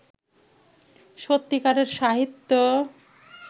সত্যিকারের সাহিত্য